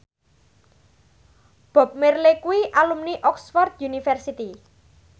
Bob Marley kuwi alumni Oxford university